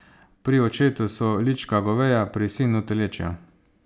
Pri očetu so lička goveja, pri sinu telečja.